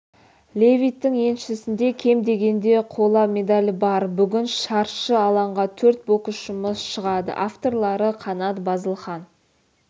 левиттің еншісінде кем дегенде қола медаль бар бүгін шаршы алаңға төрт боксшымыз шығады авторлары қанат базылхан